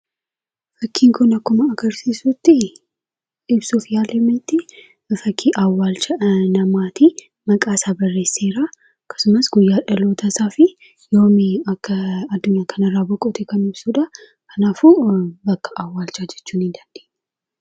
Fakkiin kun akkuma argarsiisutti ibsuuf yaalametti fakkii awwaalcha namaati. Maqaasaa barreesseera akkasumas guyyaa dhalootaa fi yoom akka addunyaa kanarraa boqote kan ibsudha. Kanaafuu bakka awwaalchaa jechuu ni dandeenya.